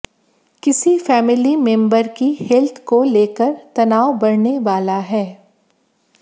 किसी family member की health को लेकर तनाव बढऩे वाला है